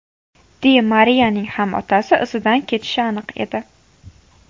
Di Mariyaning ham otasi izidan ketishi aniq edi.